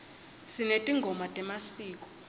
sinetingoma temasiko